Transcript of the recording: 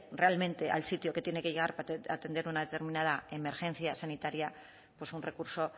realmente al sitio que tiene que llegar para atender una determinada emergencia sanitaria pues un recurso